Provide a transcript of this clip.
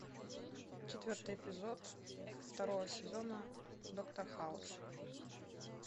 четвертый эпизод второго сезона доктор хаус